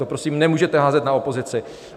To prosím nemůžete házet na opozici.